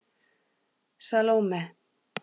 Salóme